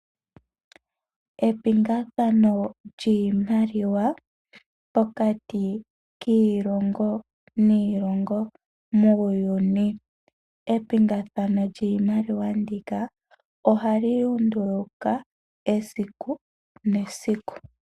Epingakanitho lyiimaliwa pokati kiilongo niilonga muuyuni. Epingakanitho lyiimaliwa ndika ohali lunduluka esiku nesiku.